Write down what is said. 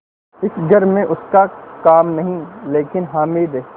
इस घर में उसका काम नहीं लेकिन हामिद